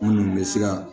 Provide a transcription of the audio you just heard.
Minnu bɛ se ka